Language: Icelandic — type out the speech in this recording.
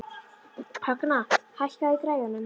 Högna, hækkaðu í græjunum.